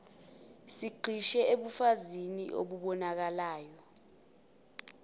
sigxile ebufakazini obubonakalayo